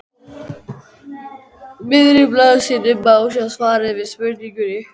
miðri blaðsíðunni má sjá svarið við spurningunni